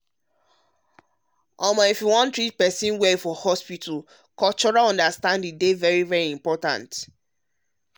cultural understanding dey important like dey important like knowing how to treat person well for hospital.